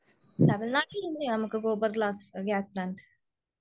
തമിഴ് നാട്ടിന്നു തന്നെയാ നമുക്ക് സൂപ്പർ ഗ്യാസ്